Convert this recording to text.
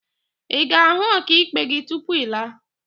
Ị ga-ahụ ọkaikpe gị tupu ị laa?